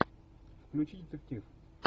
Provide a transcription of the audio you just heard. включи детектив